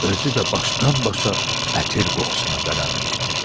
Özü də başdan-başa ətir qoxusuna bələnmişdi.